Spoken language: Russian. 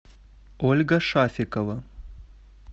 ольга шафикова